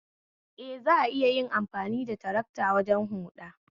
Eh, Za'a iya amfani da tarakta wajen huda